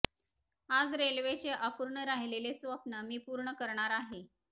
आज रेल्वेचे अपूर्ण राहिलेले स्वप्न मी पूर्ण करणार आहे